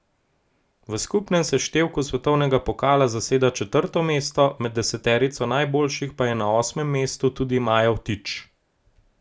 V skupnem seštevku svetovnega pokala zaseda četrto mesto, med deseterico najboljših pa je na osmem mestu tudi Maja Vtič.